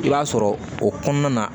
I b'a sɔrɔ o kɔnɔna na